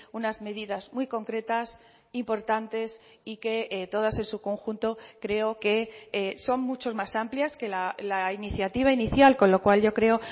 unas medidas muy concretas importantes y que todas en su conjunto creo que son muchos más amplias que la iniciativa inicial con lo cual yo creo